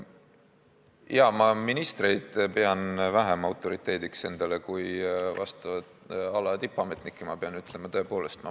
Jaa, ma pean ministreid vähem autoriteediks kui vastava ala tippametnikke, seda pean tõepoolest ütlema.